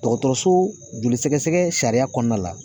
Dɔgɔtɔrɔso joli sɛgɛsɛgɛ sariya kɔnɔna la